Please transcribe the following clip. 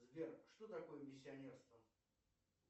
сбер что такое миссионерство